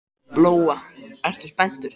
Lóa: Ertu spenntur?